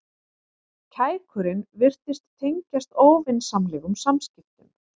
Kækurinn virtist tengjast óvinsamlegum samskiptum.